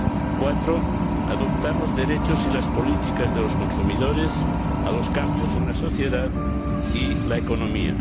y, en cuarto lugar, adaptar los derechos y las políticas de los consumidores a los cambios en la sociedad y la economía.